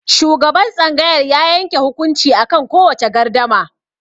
Shugaban tsangayar ya yanke hukunci akan kowace gardama.